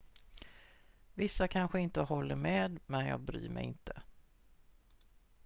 """vissa kanske inte håller med men jag bryr mig inte.